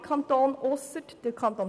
Alle Kantone ausser die Kantone